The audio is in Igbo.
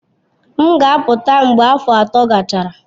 M ga-apụta mgbe afọ atọ gachara.